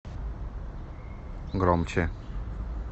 громче